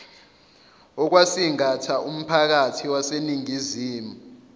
okwasingatha umphakathi waseningizimu